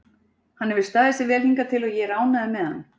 Hann hefur staðið sig vel hingað til og ég er ánægður með hann.